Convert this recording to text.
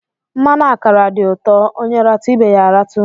Mmanụ akara dị ụtọ; onye ratụ, ibe ya a ratụ